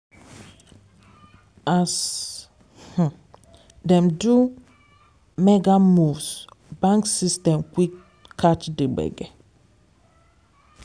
as um dem do maga moves bank system quick catch the gbege.